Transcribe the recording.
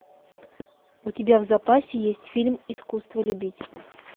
у тебя в запасе есть фильм искусство любить